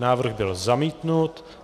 Návrh byl zamítnut.